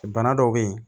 Bana dɔ bɛ yen